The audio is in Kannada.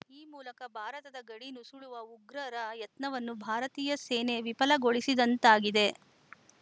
ಈ ಮೂಲಕ ಭಾರತದ ಗಡಿ ನುಸುಳುವ ಉಗ್ರರ ಯತ್ನವನ್ನು ಭಾರತೀಯ ಸೇನೆ ವಿಫಲಗೊಳಿಸಿದಂತಾಗಿದೆ